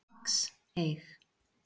Max, eig.